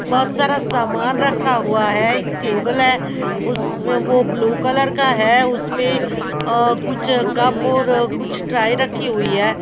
बहोत सारा सामान रखा हुआ है एक टेबल है उसमें वो ब्लू कलर का है उसपे कुछ और कुछ ट्राई रखी हुई है।